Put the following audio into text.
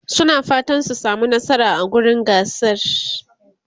suna fatan su samu nasara a wurin gasar